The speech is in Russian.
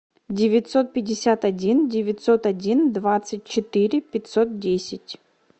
девятьсот пятьдесят один девятьсот один двадцать четыре пятьсот десять